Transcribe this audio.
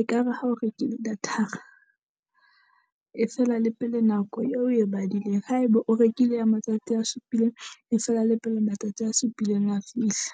Ekare ha o rekile data-ra e fela le pele nako eo oe badileng. Haeba o rekile ya matsatsi a supileng, e fela la pele matsatsi a supileng a fihla.